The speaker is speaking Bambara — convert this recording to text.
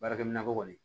Baarakɛminɛnko kɔni